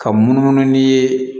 Ka munumunu n'i ye